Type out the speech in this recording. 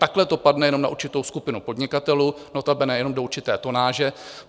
Takhle to padne jenom na určitou skupinu podnikatelů, notabene jenom do určité tonáže.